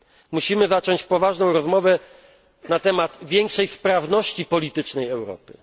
Musimy zacząć poważną rozmowę na temat większej sprawności politycznej Europy.